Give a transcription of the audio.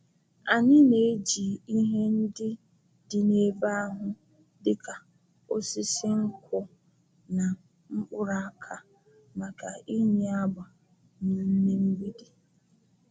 Anyị na-eji ihe ndị dị n’ebe ahụ dịka osisi nkwụ na mkpụrụ aka maka ịnye agba na ime mgbidi.